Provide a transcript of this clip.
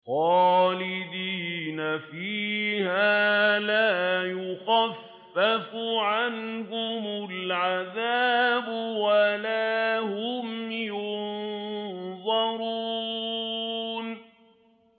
خَالِدِينَ فِيهَا ۖ لَا يُخَفَّفُ عَنْهُمُ الْعَذَابُ وَلَا هُمْ يُنظَرُونَ